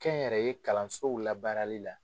Kɛnyɛrɛye kalansow labaarali la.